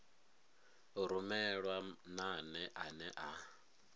u rumelwa nane ane a